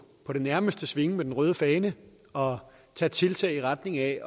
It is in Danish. det nærmeste svinge med den røde fane og tage tiltag i retning af